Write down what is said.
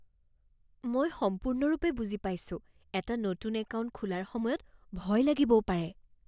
মই সম্পূৰ্ণৰূপে বুজি পাইছোঁ। এটা নতুন একাউণ্ট খোলাৰ সময়ত ভয় লাগিবও পাৰে।